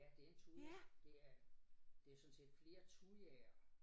Ja det en thuja det er det sådan set flere thujaer